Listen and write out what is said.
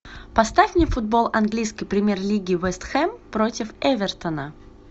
поставь мне футбол английской премьер лиги вест хэм против эвертона